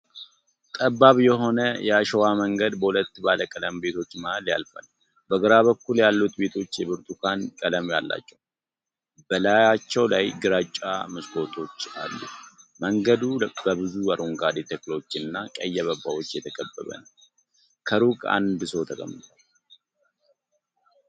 ጠባብ የሆነ የአሸዋ መንገድ በሁለት ባለቀለም ቤቶች መሃል ያልፋል። በግራ በኩል ያሉት ቤቶች የብርቱካን ቀለም አላቸው፣ በላያቸው ላይ ግራጫ መስኮቶች አሉ። መንገዱ በብዙ አረንጓዴ ተክሎች እና ቀይ አበባዎች የተከበበ ነው፣ ከሩቅ አንድ ሰው ተቀምጧል።